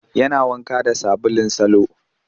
Yana wanka da sabulun salo